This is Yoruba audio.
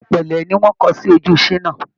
Ilà pélé ni wọ́n kọ sí ojú Ṣínà.